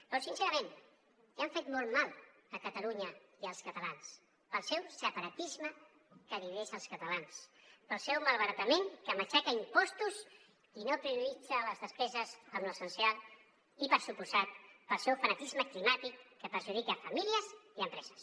però sincerament ja han fet molt mal a catalunya i als catalans pel seu separatisme que divideix els catalans pel seu malbaratament que matxaca a impostos i no prioritza les despeses en l’essencial i per descomptat pel seu fanatisme climàtic que perjudica famílies i empreses